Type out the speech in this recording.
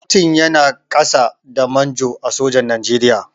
Kyaftin yana ƙasa da Manjo a sojan Nigeria.